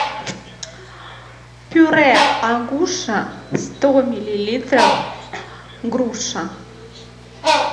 пюре агуша сто миллилитров груша